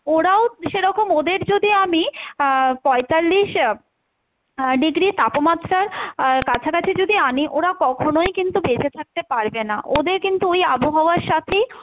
ওরাও সেরকম ওদের যদি আমি আহ পঁয়তাল্লিশ আহ degree তাপমাত্রার আহ কাছাকাছি যদি আনি ওরা কখনোই কিন্তু বেচেঁ থাকতে পারবে না, ওদের কিন্তু ওই আবহাওয়ার সাথেই